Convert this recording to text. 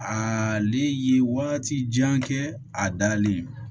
A le ye waati jan kɛ a dalen